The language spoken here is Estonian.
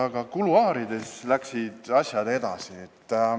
Aga kuluaarides läksid asjad edasi.